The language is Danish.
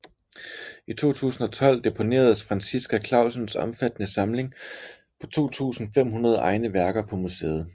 I 2012 deponeredes Franciska Clausens omfattende samling på 2500 egne værker på museet